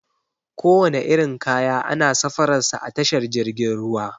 Kowane irin kaya ana safarar sa a tashar jirgin ruwa.